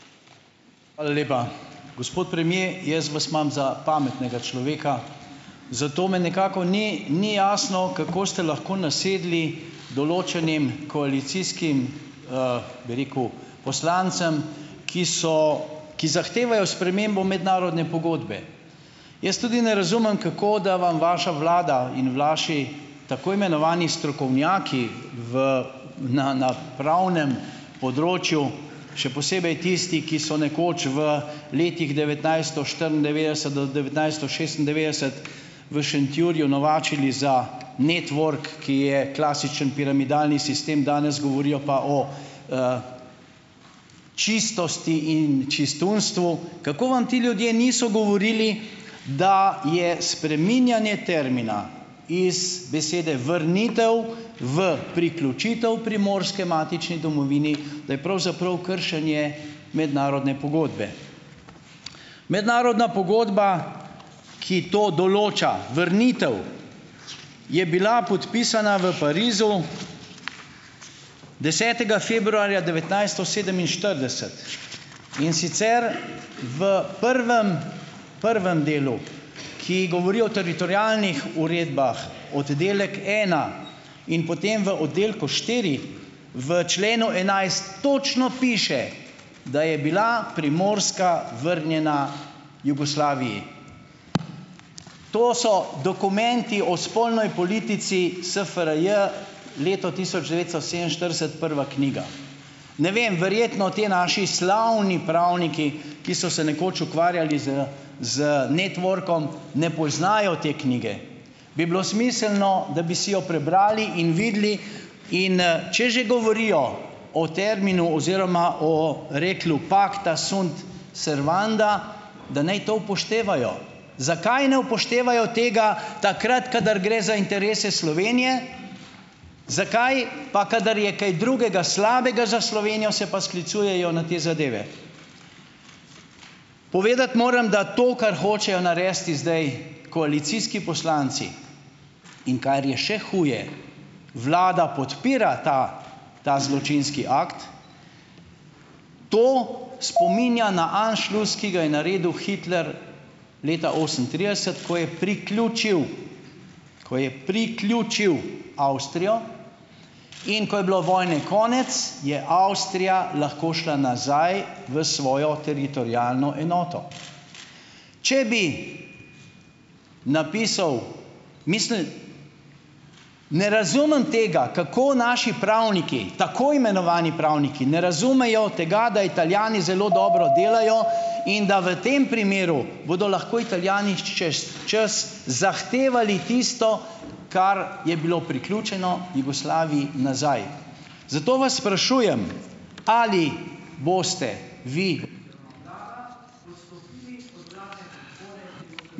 Hvala lepa. Gospod premier, jaz vas imam za pametnega človeka, zato me nekako, ni, ni jasno, kako ste lahko nasedli določenim koalicijskim, bi rekel, poslancem, ki so, ki zahtevajo spremembo mednarodne pogodbe. Jaz tudi ne razumem, kako, da vam vaša vlada in vaši tako imenovani strokovnjaki v na, na pravnem področju, še posebej tisti, ki so nekoč v letih devetnajststo štiriindevetdeset do devetnajststo šestindevetdeset v Šentjurju novačili za Network, ki je klasičen piramidalni sistem, danes govorijo pa o, čistosti in čistunstvu. Kako vam ti ljudje niso govorili, da je spreminjanje termina iz besede vrnitev v priključitev Primorske matični domovini, da je pravzaprav kršenje mednarodne pogodbe. Mednarodna pogodba, ki to določa, vrnitev, je bila podpisana v Parizu desetega februarja devetnajststo sedeminštirideset, in sicer v prvem, prvem delu, ki govori o teritorialnih uredbah, oddelek ena in potem v oddelku štiri, v členu enajst točno piše, da je bila Primorska vrnjena Jugoslaviji. To so Dokumenti o spolnoj politici SFRJ, leto tisoč devetsto sedeminštirideset, prva knjiga . Ne vem, verjetno ti naši slavni pravniki, ki so se nekoč ukvarjali z, z Networkom, ne poznajo te knjige. Bi bilo smiselno, da bi si jo prebrali in videli, in, če že govorijo o terminu oziroma o rekli "Pacta sunt servanda", da naj to upoštevajo. Zakaj ne upoštevajo tega takrat, kadar gre za interese Slovenije, zakaj pa, kadar je kaj drugega slabega za Slovenijo, se pa sklicujejo na te zadeve. Povedati moram, da to, kar hočejo narediti zdaj koalicijski poslanci, in kar je še huje, vlada podpira ta, ta zločinski akt. To spominja na anšlus, ki ga je naredil Hitler leta osemintrideset, ko je priključil, ko je priključil Avstrijo, in ko je bilo vojne konec , je Avstrija lahko šla nazaj v svojo teritorialno enoto. Če bi napisal, mislim, ne razumem tega, kako naši pravniki, tako imenovani pravniki, ne razumejo tega, da Italijani zelo dobro delajo in da v tem primeru bodo lahko Italijani čez čas zahtevali tisto , kar je bilo priključeno Jugoslaviji nazaj. Zato vas sprašujem, ali boste vi ...